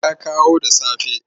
Ya kawo da safe.